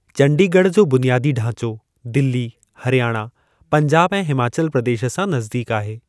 चंडीगढ़ जो बुनियादी ढांचो, दिल्ली, हरियाणा, पंजाब ऐं हिमाचल प्रदेश सां नज़दीक आहे।